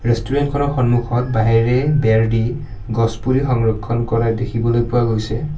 Restaurant খনৰ সন্মুখত বাঁহেৰে বেৰ দি গছ পুলি সংৰক্ষণ কৰা দেখিবলৈ পোৱা গৈছে।